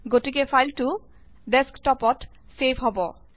গতিকে ফাইলটো ডেক্সটপত ছেভ হব